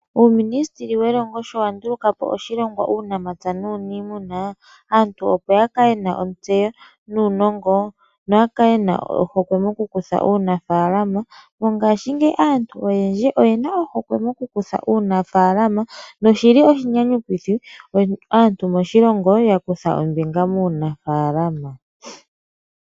Uuminisiteli welongo sho wa nduluka po oshilongwa Uunamapya nuuniimuna, aantu opo ya kale ye na ontseyo nuunongo noya kale ye na ohokwe mokukutha uunafaalama. Mongashingeyi aantu oyendji oye na ohokwe mokukutha uunafaalama noshi li oshinyanyukithi moshilongo aantu ya kutha ombinga muunafaalama.